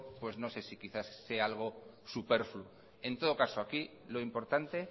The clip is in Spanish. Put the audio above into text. pues no sé si quizá sea algo superfluo en todo caso aquí lo importante